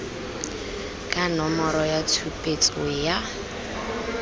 ka nomoro ya tshupetso ya